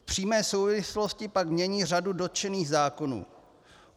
V přímé souvislosti pak mění řadu dotčených zákonů.